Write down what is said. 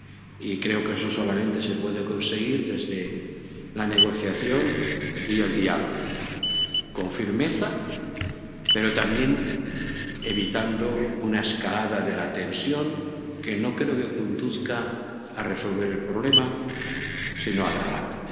Y creo que eso solamente se puede conseguir desde la negociación y el diálogo, con firmeza, pero también evitando una escalada de la tensión, que no creo que conduzca a resolver el problema, sino a agravarlo.